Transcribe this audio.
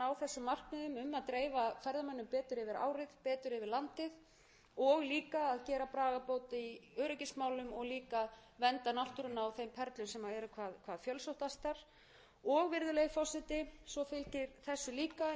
um að dreifa ferðamönnum betur yfir árið betur yfir landið og líka að gera bragarbót í öryggismálum og líka að vernda náttúruna á þeim perlum sem eru hvað fjölsóttastar og virðulegi forseti svo fylgir þessu líka eins og mörgum öðrum góðum